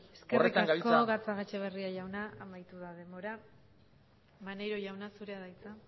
horretan gabiltza eskerrik asko gatzagaetxebarria jauna amaitu da debora maneiro jauna zurea da hitza